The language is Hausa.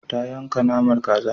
Ta yanka naman kazar.